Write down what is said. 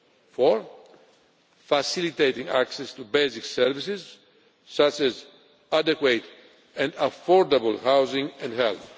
Fourthly, facilitating access to basic services such as adequate and affordable housing and